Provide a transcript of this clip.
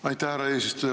Aitäh, härra eesistuja!